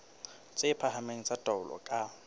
tse phahameng tsa taolo ka